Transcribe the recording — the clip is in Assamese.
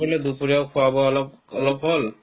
কৰিলে দুপৰীয়া খোৱা-বোৱা অলপ অলপ হ'ল